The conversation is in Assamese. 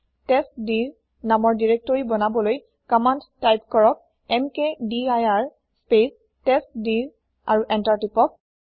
টেষ্টডিৰ নামৰ দিৰেক্তৰি বনাবলৈ কমান্দ তাইপ কৰক এমকেডিৰ স্পেচ টেষ্টডিৰ আৰু এন্তাৰ টিপক